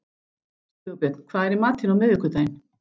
Sigurbjörn, hvað er í matinn á miðvikudaginn?